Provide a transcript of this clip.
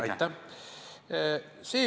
Aitäh!